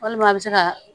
Walima a bɛ se ka